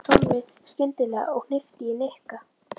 sagði Tommi skyndilega og hnippti í Nikka.